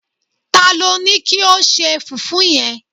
talo Ni kio se fufu yen